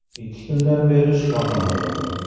Ikki kundan beri shifoxonadaman”.